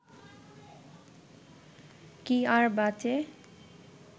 কি আর বাঁচে